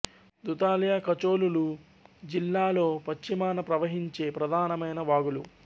దుధాలియా కచోల్ లు జిల్లాలో పశ్చిమాన ప్రవహించే ప్రధానమైన వాగులు